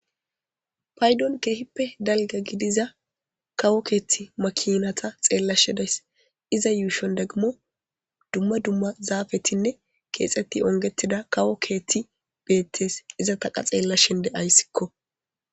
paydon keehippe dalga gidiza kawo keethti makinata xeellashedays iza yuushon deggimo dumma dumma zaafetinne keexetti ongetida kawo keetti beettees iza taqa xeella shende ayssikko